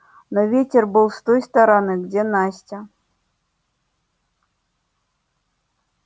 но ветер был с той стороны где настя